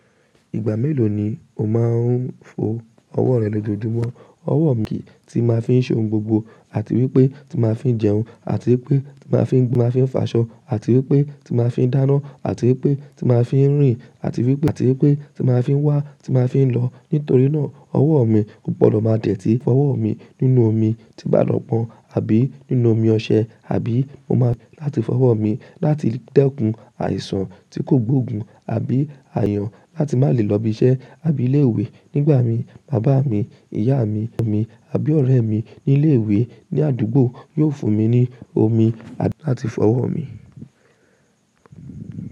Ìgbà mélòó ni o máa ń fo ọwọ́ rẹ lójoojúmọ́? Ọwọ́ mi tí máa ń fi ṣe ohun gbogbo àti wípé tí máa ń fi jẹun àti wípé tí máa fi ń gbé, máa fi ń faṣọ àti wípé tí máa ń fi dáná àti wípé tí máa ń fi ń rìn àti wípé àti wípé tí máa ń fi wá, tí máa ń fi lọ. Nítorí náà ọwọ́ mi kò gbọdọ̀ máa dẹ̀ tí fọwọ́ mi nínú omi tí bàlọ̀ pọ́n àbí nínú omi ọṣẹ àbí mo máa láti fọwọ́ mi láti dẹ́kun àìsàn tí kò gbóògùn àbí àyàn láti má lè lọ ibi iṣẹ́ àbí ilé ìwé. Nígbà mi, bàbá mi, ìyá mi, ọmọ mi àbí ọ̀rẹ́ mi ní ilé ìwé ní àdúgbò yóò fún mi ní omi àti láti fọwọ́ mi.